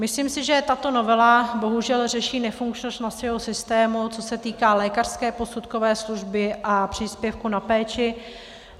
Myslím si, že tato novela bohužel řeší nefunkčnost našeho systému, co se týká lékařské posudkové služby a příspěvku na péči.